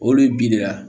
Olu bi de ya